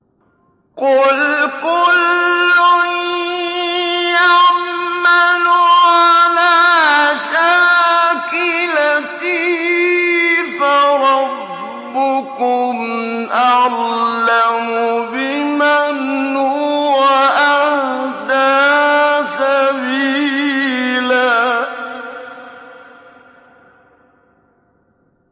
قُلْ كُلٌّ يَعْمَلُ عَلَىٰ شَاكِلَتِهِ فَرَبُّكُمْ أَعْلَمُ بِمَنْ هُوَ أَهْدَىٰ سَبِيلًا